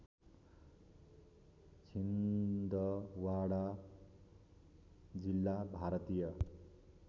छिन्दवाडा जिल्ला भारतीय